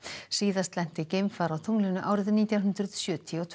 síðast lenti geimfar á tunglinu árið nítján hundruð sjötíu og tvö